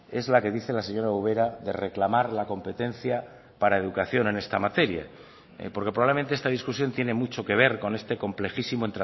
es la que dice la señora ubera de reclamar la competencia para educación en esta materia porque probablemente esta discusión tiene mucho que ver con este complejísimo